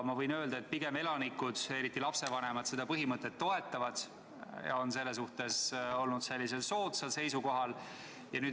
Ma võin öelda, et elanikud, eriti lapsevanemad seda põhimõtet pigem toetavad ja on selles suhtes pooldaval seisukohal.